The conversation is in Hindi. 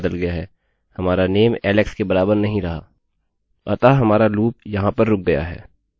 अब if को 11 में बदल दीजिये या आप num को 0 में बदल सकते हैं